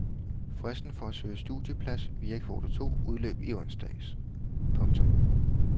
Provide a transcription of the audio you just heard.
Fristen for at søge studieplads via kvote to udløb i onsdags. punktum